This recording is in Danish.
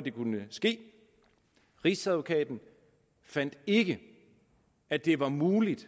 det kunne ske rigsadvokaten fandt ikke at det var muligt